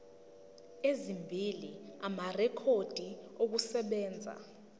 ezimbili amarekhodi okusebenza